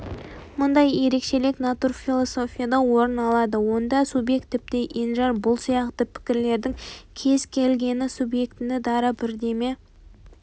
мұндай ерекшелік натурфилософияда орын алады онда субъект тіпті енжар бұл сияқты пікірлердің кез келгені субъектіні дара бірдеме